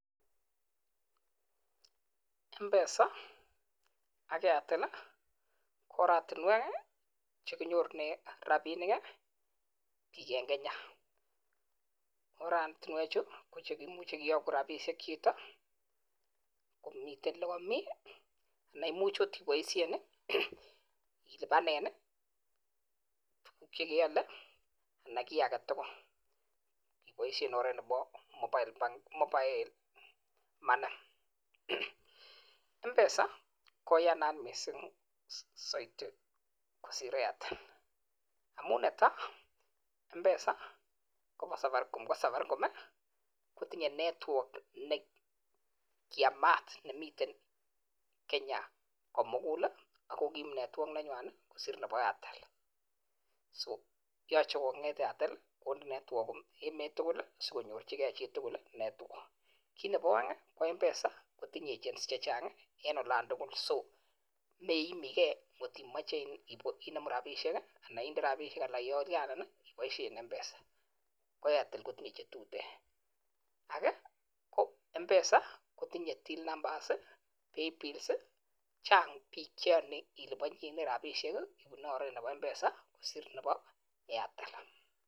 Mpesa AK.Airtel KO oratunweek chenorunen piik rapisheek Eng kenya ngimeche ilapan rapishek anan kokik agetugul ipaisheeee mpesa ako tinye (network) nenyalunot Eng emet kotuguul age mpesa kotinye (playbill, till number) iyanii piik kopaisheee chtok tugull